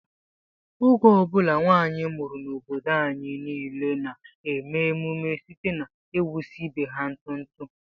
Oge ọ bụla nwanyị mụrụ n'obodo anyị niile na-eme ememe site n'ịwụsa ibe ha ntụ ntụ